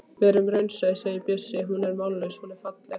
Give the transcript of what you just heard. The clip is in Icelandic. Verum raunsæ, sagði Bjössi, hún er mállaus, hún er falleg.